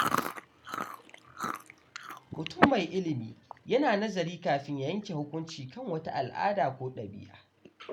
Mutum mai ilimi yana nazari kafin ya yanke hukunci kan wata al’ada ko ɗabi’a.